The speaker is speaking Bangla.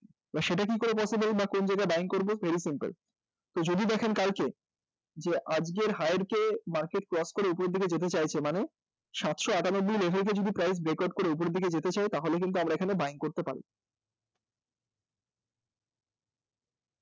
এবার সেটা কী করে possible বা কোন জায়গায় buying করব very simple তো যদি দেখেন কালকে যে আজকে higher কে cross করে market উপরের দিকে যেতে চাইছে মানে সাতশ আটানব্বই level কে cross করে যদি market উপরের দিকে যেতে চায় তাহলে কিন্তু আমরা এখানে buying করব